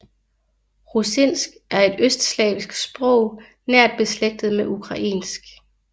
Rusinsk er et østslavisk sprog nært beslægtet med ukrainsk